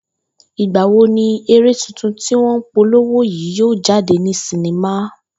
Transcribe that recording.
Ìgbà wo ni eré tuntun tí wó̩n n polowo yìí yóò jáde ní sinima?